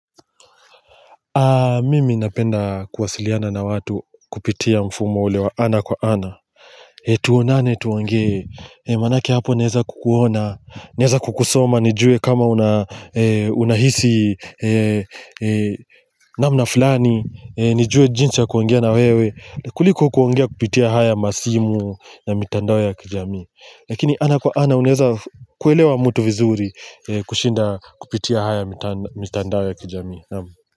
Mimi napenda kuwasiliana na watu kupitia mfumo ule wa ana kwa ana. Tuonane tuongee manake hapo naeza kukuona naeza kukusoma nijue kama unahisi namna fulani nijue jinsi ya kuongea na wewe kuliko kuongea kupitia haya masimu na mitandao ya kijamii. Lakini ana kwa ana unaeza kuelewa mtu vizuri kushinda kupitia haya mitandao ya kijamii naam.